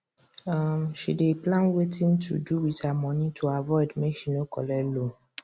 um she dey plan wetin to do with her money to avoid make she no collect loan